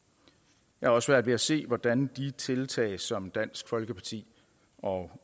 jeg har også svært ved at se hvordan de tiltag som dansk folkeparti og